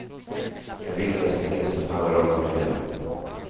Den viktigaste vinsten handlar dock om miljön.